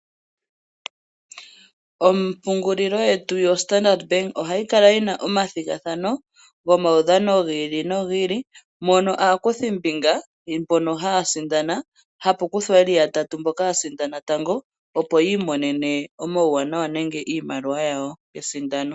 Ompungulilo yetu yoStandard bank ohayi kala yi na omathigathano gomaudhano gi ili no gi ili, mono aakuthimbinga mbono haa sindana, hapu kuthwa ye li yatatu mboka ya sindana tango, opo yi imonene omauwanawa nenge iimaliwa yawo yesindano.